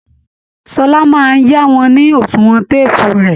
Ṣọlá máa yá wọn ni oṣùwọn téèpù rẹ̀